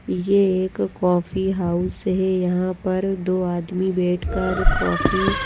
ये एक coffee house है यहां पर दो आदमी बैठकर कॉफी --